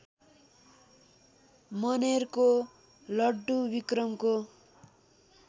मनेरको लड्डु विक्रमको